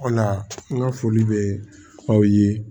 O la n ka foli bɛ aw ye